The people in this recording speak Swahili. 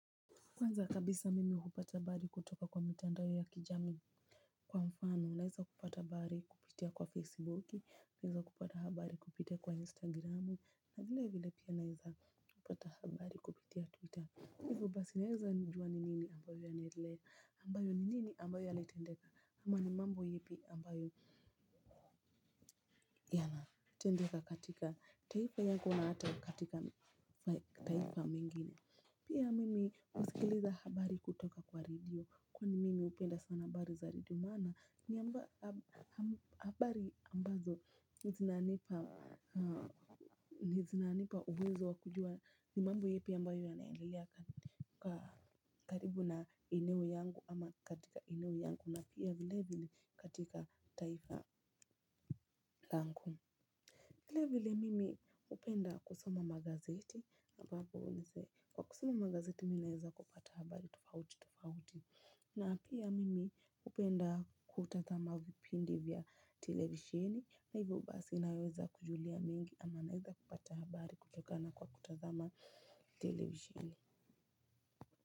Kwanza kabisa mimi hupata habari kutoka kwa mitandao ya kijamii kwa mfano, naweza kupata habari kupitia kwa Facebook, naweza kupata habari kupitia kwa Instagram, na vile vile pia naweza kupata habari kupitia Twitter. Hivyo basi naweza kujua ni nini kinachoendelea, nini ambacho kilitendeka ama ni mambo yapi yanayotendeka katika taifa yako na hata katika mataifa mengine. Pia mimi husikiliza habari kutoka kwa redio kwani mimi hupenda sana habari za redio maana ni habari ambazo ni zinanipa uwezo wa kujua ni mambo yapi ambayo yanaendelea. Kwa karibu na eneo yangu ama katika eneo yangu na pia vilevile katika taifa langu. Vile vile mimi hupenda kusoma magazeti ambapo kwa kusoma magazeti mimi naweza kupata habari tofauti tofauti. Na pia mimi hupenda kutazama vipindi vya televisheni na hivyo basi naweza kujua mengi ama naweza kupata habari kutokana na kutazama televisheni.